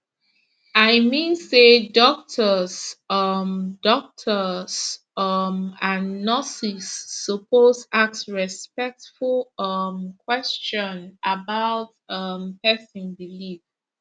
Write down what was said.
i mean say doctors um doctors um and nurses suppose ask respectful um question about um person belief